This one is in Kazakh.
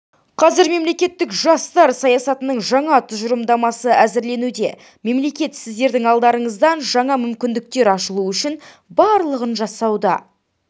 қазір мемлекеттік жастар саясатының жаңа тұжырымдамасы әзірленуде мемлекет сіздердің алдарыңыздан жаңа мүмкіндіктер ашылуы үшін барлығын жасауда